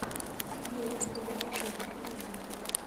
видеокомпиляции в ютубе